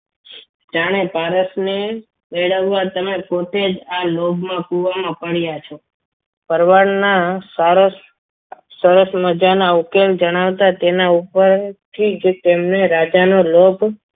જાણે પારસને મેળવવા તમે પોતે જ આ લોભના કુવામાં પડ્યા છો ભરવાડના સારસ મજાના ઉકેલ જણાવતા તેના ઉપર થી જ તેમને રાજાનો લોભ